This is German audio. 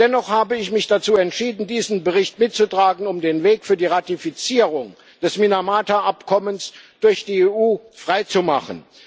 Dennoch habe ich mich dazu entschieden, diesen Bericht mitzutragen, um den Weg für die Ratifizierung des Minamata-Abkommens durch die EU freizumachen.